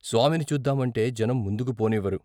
స్వామిని చూద్దామంటే జనం ముందుకు పోనివ్వరు.